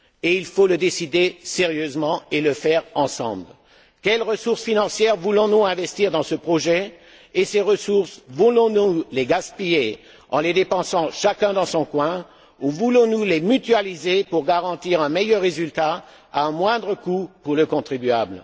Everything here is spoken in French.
Il faut le décider sérieusement et le faire ensemble. Quelles ressources financières voulons nous investir dans ce projet et voulons nous gaspiller ces ressources en les dépensant chacun dans son coin ou voulons nous les mutualiser pour garantir un meilleur résultat à un moindre coût pour le contribuable?